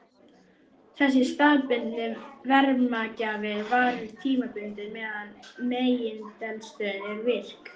Þessi staðbundni varmagjafi varir tímabundið meðan megineldstöðin er virk.